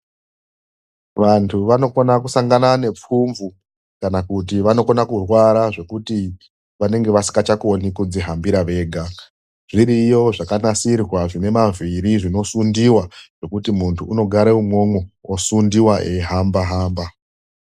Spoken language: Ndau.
VANTU VANOKONA KUSANGANA NEPFUMVU KANA KUTI VANOKONA KURWARA ZVEKUTI VANENGE VASINGACHAKONI KUZVIHAMBIRA VEGA, ZVIRIYO ZVAKANASIRWA ZVINE MAVHIRI ZVINOSUNDIWA ZVEKUTI MUNHU UNOGAREMWO EISUNDIWA EIHAMBA-HAMBA.